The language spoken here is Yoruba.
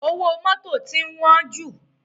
Owó mọ́tò ti ń wọ́n jù.